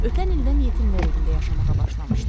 Ötən ildən yetimlər evində yaşamağa başlamışdı.